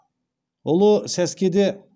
ұлы сәскеде